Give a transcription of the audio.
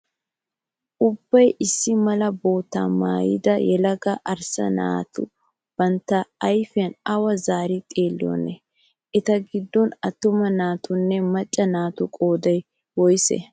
Ubbayi issi mala boottaa maayida yelaga arssa naati bantta ayipiyaa awa zaari xeelliyoonaa? Eta giddon attuma naatunne macca naatu qoodayi woyisee?